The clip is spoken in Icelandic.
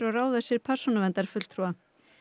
ráða sér persónuverndarfulltrúa